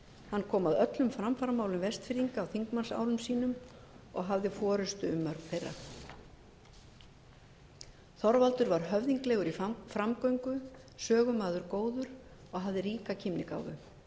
hann koma að öllum framfaramálum vestfirðinga á þingmannsárum sínum og hafði forustu um mörg þeirra þorvaldur var höfðinglegur í framgöngu sögumaður góður og hafði ríka kímnigáfu